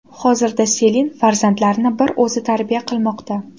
Hozirda Selin farzandlarini bir o‘zi tarbiya qilmoqda.